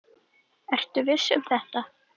Ertu viss um þetta?